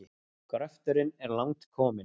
Gröfturinn er langt kominn.